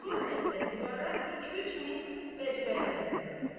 Sol səmtdən divara 2-3 mis məcməyi dayanıbdı.